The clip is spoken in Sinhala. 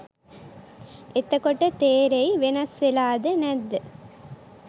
එතකොට තෙරෙයි වෙනස් වෙලාද නැද්ද